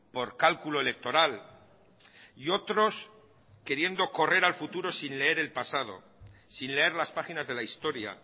por cálculo electoral y otros queriendo correr al futuro sin leer el pasado sin leer las páginas de la historia